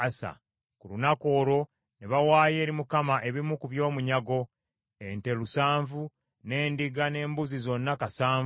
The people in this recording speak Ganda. Ku lunaku olwo ne bawaayo eri Mukama ebimu ku by’omunyago: ente lusanvu, n’endiga n’embuzi zonna kasanvu.